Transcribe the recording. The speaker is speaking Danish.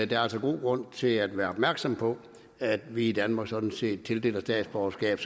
der er altså god grund til at være opmærksom på at vi i danmark sådan set tildeler statsborgerskab